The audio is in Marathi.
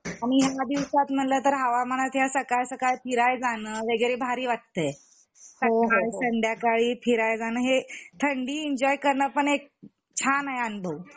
आणि या दिवसात म्हंटल तर हवामानत या सकाळ सकाळ फिरायला जान वगैरे भारी वाटतंय सकाळ संध्याकाळी फिरायला जान हे थंडी एन्जॉय करणपण एक छान आहे अनुभव